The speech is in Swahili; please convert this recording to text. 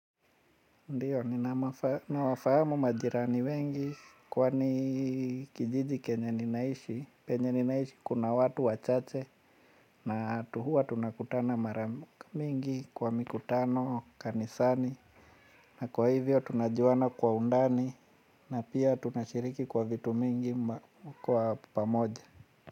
Ndiyo, ninawafahamu majirani wengi kwani kijiji kenye ninaishi, kenye ninaishi kuna watu wachache na huwa tunakutana maramingi kwa mikutano kanisani na kwa hivyo tunajuana kwa undani na pia tunashiriki kwa vitu mingi kwa pamoja.